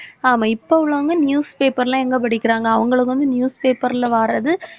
ஆமா இப்ப உள்ளவங்க news paper லாம் எங்க படிக்கிறாங்க அவங்களுக்கு வந்து news paper ல வாரது